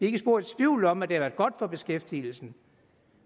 ikke spor i tvivl om at det har været godt for beskæftigelsen